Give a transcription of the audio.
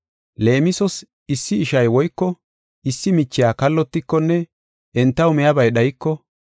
Leemisos issi ishay woyko issi michiya kallotikonne entaw miyabay dhayiko,